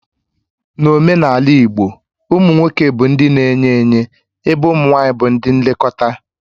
N'omenala igbo, ụmụ nwoke bụ ndị na-enye enye ébé ụmụ nwanyị bụ ndị nlekọta